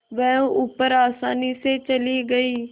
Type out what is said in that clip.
वह ऊपर आसानी से चली गई